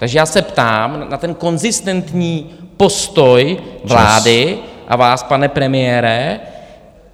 Takže já se ptám na ten konzistentní postoj vlády... ...a vás, pane premiére.